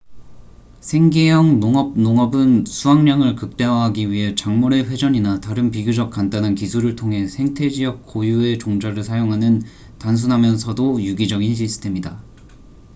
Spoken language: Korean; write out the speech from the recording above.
생계형 농업 농업은 수확량을 극대화하기 위해 작물의 회전이나 다른 비교적 간단한 기술을 통해 생태 지역 고유의 종자를 사용하는 단순하면서도 유기적인 시스템이다